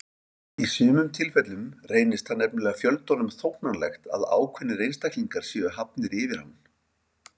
Í sumum tilfellum reynist það nefnilega fjöldanum þóknanlegt að ákveðnir einstaklingar séu hafnir yfir hann.